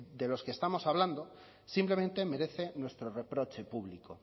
de los que estamos hablando simplemente merece nuestro reproche público